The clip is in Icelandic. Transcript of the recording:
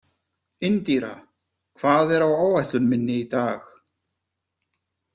Indíra, hvað er á áætlun minni í dag?